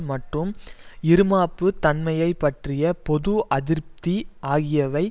மட்டும் இறுமாப்பு தன்மையை பற்றிய பொது அதிருப்தி ஆகியவை